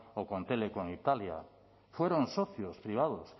o telecom italia fueron socios privados